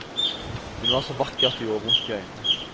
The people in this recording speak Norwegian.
Hun var så vakker at det gjorde vondt i øynene.